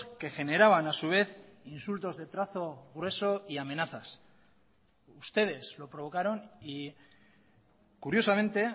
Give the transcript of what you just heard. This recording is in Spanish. que generaban a su vez insultos de trazo grueso y amenazas ustedes lo provocaron y curiosamente